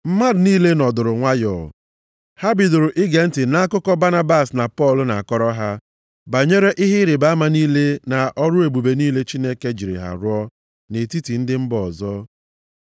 Mmadụ niile nọdụrụ nwayọọ, ha bidoro ige ntị nʼakụkọ Banabas na Pọl na-akọrọ ha banyere ihe ịrịbama niile na ọrụ ebube niile Chineke jiri ha rụọ nʼetiti ndị mba ọzọ.